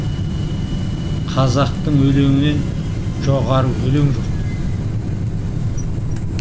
қазақтың өлеңінен жоғары өлең жоқ